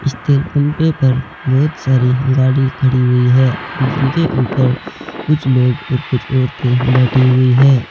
इस तेल पम्पे पर बहुत सारे गाड़ी खड़ी हुई है जिनके ऊपर कुछ लोग और कुछ औरतें बैठी हुई है।